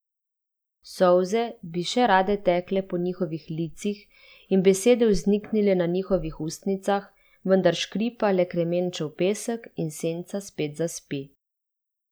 Solze bi še rade tekle po njihovih licih in besede vzniknile na njihovih ustnicah, vendar škripa le kremenčev pesek in senca spet zaspi.